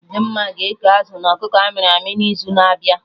Dimma ga-eke azụ na ọkụkọ amịrị amị na izu na abịa